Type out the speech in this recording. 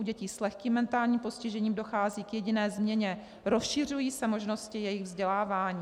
U dětí s lehkým mentálním postižením dochází k jediné změně - rozšiřují se možnosti jejich vzdělávání.